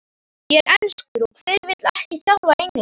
Ég er enskur og hver vill ekki þjálfa England?